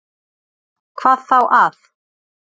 Hvað þá að